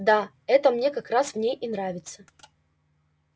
да это мне как раз в ней и нравится